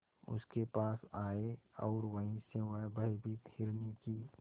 उसके पास आए और वहीं से वह भयभीत हिरनी की